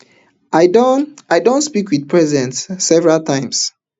i don i don speak wit present several times